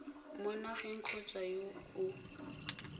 mo nageng kgotsa yo o